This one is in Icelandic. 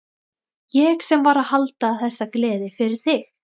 Ég sem var að halda þessa gleði fyrir þig!